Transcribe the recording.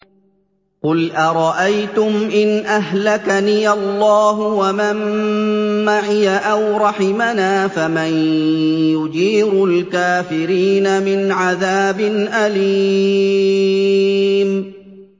قُلْ أَرَأَيْتُمْ إِنْ أَهْلَكَنِيَ اللَّهُ وَمَن مَّعِيَ أَوْ رَحِمَنَا فَمَن يُجِيرُ الْكَافِرِينَ مِنْ عَذَابٍ أَلِيمٍ